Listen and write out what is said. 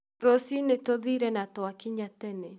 Rũciinĩ tũthiĩre na twakinya tene